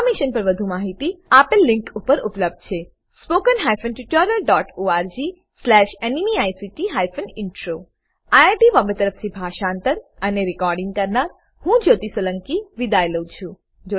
આ મિશન પર વધુ જાણકારી આપેલ લીંક પર ઉપબ્ધ છેhttpspoken tutorialorgNMEICT Intro આઈઆઈટી બોમ્બે તરફથી હું જ્યોતી સોલંકી વિદાય લઉં છું